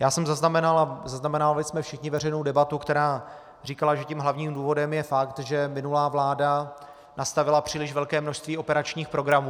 Já jsem zaznamenal a zaznamenávali jsme všichni veřejnou debatu, která říkala, že tím hlavním důvodem je fakt, že minulá vláda nastavila příliš velké množství operačních programů.